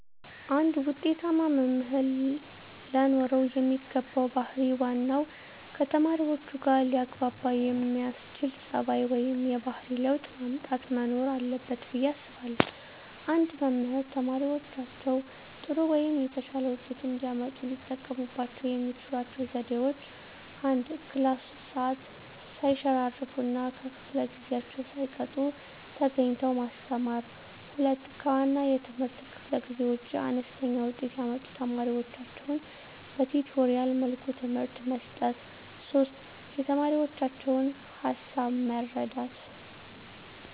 አንድ ውጤታማ መምህር ለኖረው የሚገባው ባህር ዋናው ከተማሪዎቹጋ ሊያግባባ የሚያስችል ፀባዩ ወይም የባህሪ ለውጥ ማምጣት መኖር አለበት ብየ አስባለሁ። አንድ መምህር ተማሪዎቻቸው ጥሩ ወይም የተሻለ ውጤት እንዲያመጡ ሊጠቀሙባቸው የሚችሏቸው ዘዴዎች፦ 1, ክላስ ውስጥ ሰዓት ሰይሸራርፍ እና ከፈለ ጊዜአቸውን ሳይቀጡ ተገኝተው ማስተማር። 2, ከዋና የትምህርት ክፍለ ጊዜ ውጭ አነስተኛ ውጤት ያመጡ ተማሪዎቻቸውን በቲቶሪያል መልኩ ትምህርት መስጠት። 3, የተማሪዎቻቸውን ሀሳብ መረዳት